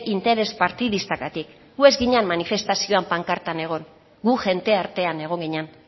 interes partidistagatik gu ez ginen manifestazioan pankartan egon gu jende artean egon ginen